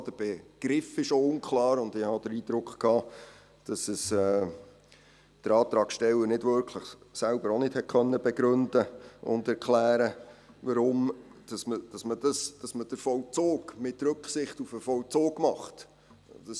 Auch der Begriff ist unklar, und ich hatte den Eindruck, dass der Antragsteller selbst auch nicht wirklich begründen und erklären konnte, weshalb man den Vollzug «mit Rücksicht auf den Vollzug» machen soll.